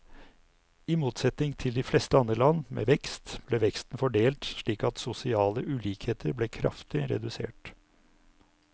I motsetning til de fleste andre land med vekst, ble veksten fordelt slik at sosiale ulikheter ble kraftig redusert.